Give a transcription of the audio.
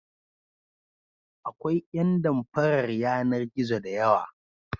Akwai ƴan damfarar yanar-gizo da yawa.